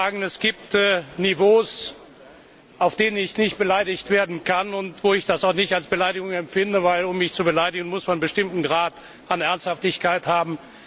Ich will aber sagen Es gibt Niveaus, auf denen ich nicht beleidigt werden kann und wo ich das auch nicht als Beleidigung empfinde, denn um mich zu beleidigen, muss man einen bestimmten Grad an Ernsthaftigkeit haben.